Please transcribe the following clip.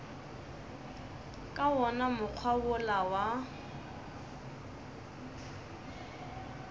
ka wona mokgwa wola wa